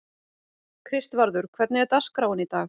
Kristvarður, hvernig er dagskráin í dag?